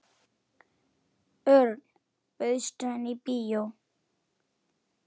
Örn, bauðstu henni í bíó?